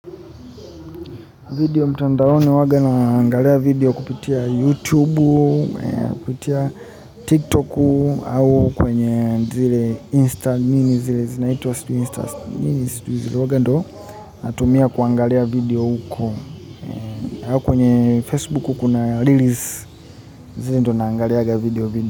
Video mtandaoni huwaga naangalia video kupitia YouTube, kupitia Tiktok, au kwenye zile Insta nini zile, zinaitwa sijui Insta nini sijui, huwaga ndio natumia kuangalia video huko. Kwenye Facebook kuna release, zile ndo naangaliaga video huko.